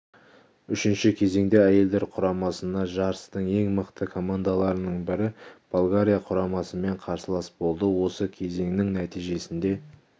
үшінші кезеңде әйелдер құрамасына жарыстың ең мықты командаларының бірі болгария құрамасымен қарсылас болды осы кезеңнің нәтижесінде